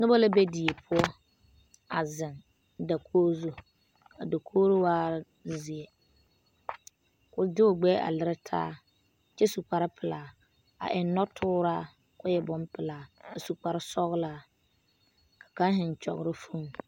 Noba la be die poɔ a zeŋ dakogi zu a dakogi waaɛ zeɛ k,o de o gbɛɛ a lere taa kyɛ su kparepelaa a eŋ nɔtooraa ka o e bonpelaa a su kparesɔglaa ka kaŋ zeŋ kyɔgrɔ foni.